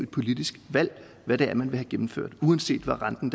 politisk valg hvad det er man vil have gennemført uanset hvad renten